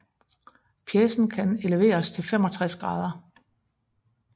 Pjecen kan eleveres til 65 grader